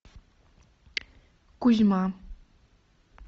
кузьма